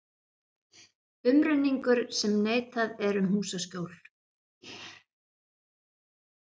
Umrenningur sem neitað er um húsaskjól.